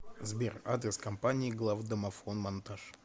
сбер адрес компании главдомофонмонтаж